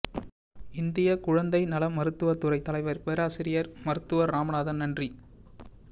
இந்தியகுழந்தை நல மருத்துவ துறை தலைவர் பேராசிரியர் மருத்துவர் ராமநாதன் நன்றி